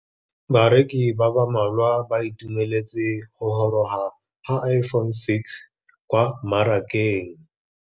Bareki ba ba malwa ba ituemeletse go gôrôga ga Iphone6 kwa mmarakeng.